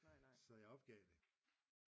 Så jeg opgav det